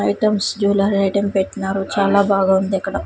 Items jewellery item పెట్నారు చాలా బాగా ఉందిక్కడ.